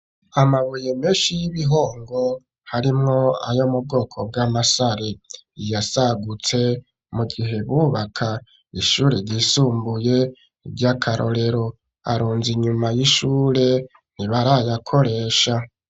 Amabuye menshi y'ibihongo harimwo ayo mubwoko bw'amasare yasagutse mu gihe bubaka ishure ryisumbuye ryakarorero ,arunze inyuma y'ishure ntibarayakoresha.